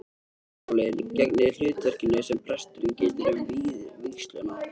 Leðurólin gegnir hlutverkinu sem presturinn getur um við vígsluna.